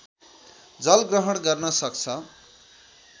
जल ग्रहण गर्न सक्छ